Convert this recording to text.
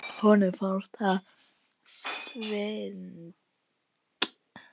Honum fannst þetta svindl.